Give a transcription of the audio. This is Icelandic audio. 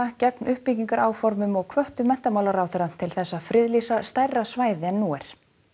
gegn uppbyggingaráformum og hvöttu menntamálaráðherra til þess að friðlýsa stærra svæði en nú er